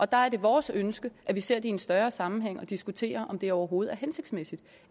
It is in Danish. der er det vores ønske at vi ser det i en større sammenhæng og diskuterer om det overhovedet er hensigtsmæssigt